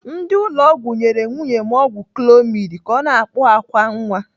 Ndị ụlọ ọgwụ nyere nwunye m ọgwụ clomid ka ọ na-akpụ àkwá nwa.